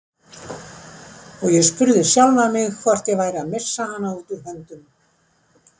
Og ég spurði sjálfan mig hvort ég væri að missa hana út úr höndunum.